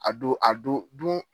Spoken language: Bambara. A don a don don.